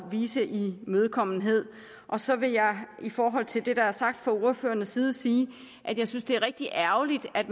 vise imødekommenhed og så vil jeg i forhold til det der er sagt fra ordførernes side sige at jeg synes det er rigtig ærgerligt at